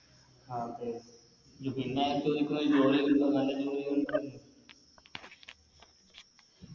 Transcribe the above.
അതെ ഇതെന്നെയാണ് ചോയിക്കുന്നത് ജോലി ഇണ്ടോ നല്ല ജോലി